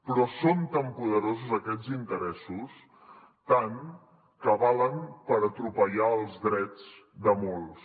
però són tan poderosos aquests interessos tant que valen per atropellar els drets de molts